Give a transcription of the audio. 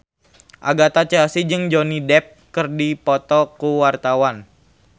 Agatha Chelsea jeung Johnny Depp keur dipoto ku wartawan